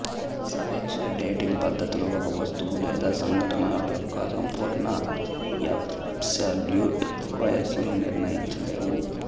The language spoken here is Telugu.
సాపేక్ష డేటింగ్ పద్ధతులు ఒక వస్తువు లేదా సంఘటన యొక్క సంపూర్ణ యాబ్సల్యూట్ వయస్సును నిర్ణయించలేవు